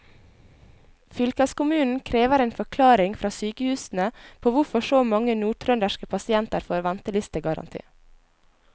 Fylkeskommunen krever en forklaring fra sykehusene på hvorfor så mange nordtrønderske pasienter får ventelistegaranti.